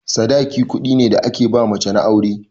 Sadaki kuɗi ne da ake ba mace na aure.